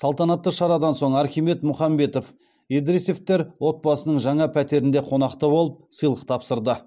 салтанатты шарадан соң архимед мұхамбетов едіресовтер отбасының жаңа пәтерінде қонақта болып сыйлық тапсырды